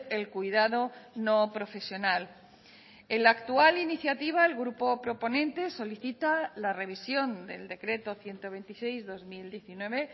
el cuidado no profesional en la actual iniciativa el grupo proponente solicita la revisión del decreto ciento veintiséis barra dos mil diecinueve